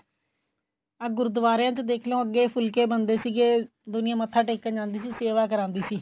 ਆਹ ਗੁਰਦੁਆਰਿਆ ਚ ਦੇਖਲੋ ਅੱਗੇ ਫੁਲਕੇ ਬਣਦੇ ਸੀਗੇ ਦੁਨੀਆ ਮੱਥਾ ਟੇਕਣ ਜਾਂਦੀ ਸੀ ਸੇਵਾ ਕਰਾਂਦੀ ਸੀ